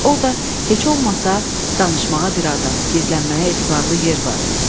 Orda heç olmasa danışmağa bir adam, gizlənməyə etibarlı yer var.